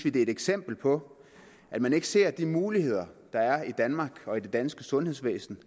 et eksempel på at man ikke ser de muligheder der er i danmark og i det danske sundhedsvæsen